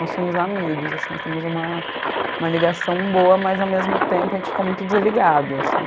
Nós somos amigos, assim, nós temos uma... uma ligação boa, mas ao mesmo tempo a gente fica muito desligado, assim.